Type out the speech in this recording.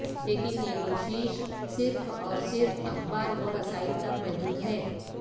لیکن یہ کو شش صرف اور صرف اخبارورسائل تک محدود ہے